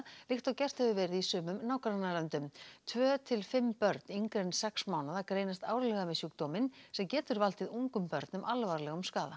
líkt og gert hefur verið í sumum nágrannalöndum tvö til fimm börn yngri en sex mánaða greinast árlega með sjúkdóminn sem getur valdið ungum börnum alvarlegum skaða